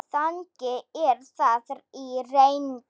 Þannig er það í reynd.